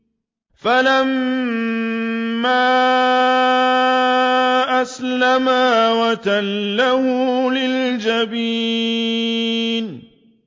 فَلَمَّا أَسْلَمَا وَتَلَّهُ لِلْجَبِينِ